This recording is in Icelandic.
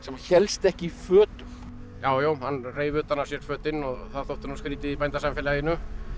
hélst ekki í fötum já já hann reif utan af sér fötin og það þótti nú skrýtið í bændasamfélaginu